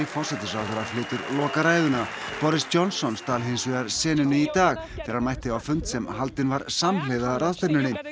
forsætisráðherra flytur lokaræðuna boris Johnson stal hins vegar senunni í dag þegar hann mætti á fund sem haldinn var samhliða ráðstefnunni